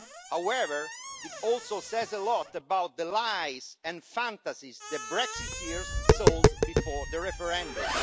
However, it also says a lot about the lies and fantasies the Brexiteers sold before the referendum.